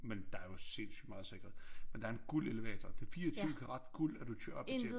Men der jo sindssygt meget sikkerhed men der er en guldelevator det 24 karat guld at du kører op til